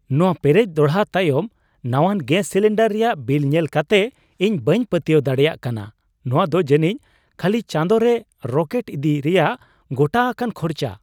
ᱱᱚᱶᱟ ᱯᱮᱨᱮᱡ ᱫᱚᱲᱦᱟ ᱛᱟᱭᱚᱢ ᱱᱟᱣᱟᱱ ᱜᱮᱥ ᱥᱤᱞᱤᱱᱰᱟᱨ ᱨᱮᱭᱟᱜ ᱵᱤᱞ ᱧᱮᱞ ᱠᱟᱛᱮ ᱤᱧ ᱵᱟᱹᱧ ᱯᱟᱹᱛᱣᱟᱹᱣ ᱫᱟᱲᱮᱭᱟᱜ ᱠᱟᱱᱟ ᱾ᱱᱚᱶᱟᱫᱚ ᱡᱟᱹᱱᱤᱡ ᱠᱷᱟᱹᱞᱤ ᱪᱟᱸᱫᱳᱨᱮ ᱨᱚᱠᱮᱴ ᱤᱫᱤ ᱨᱮᱭᱟᱜ ᱜᱚᱴᱟ ᱟᱠᱟᱱ ᱠᱷᱚᱨᱪᱟ ᱾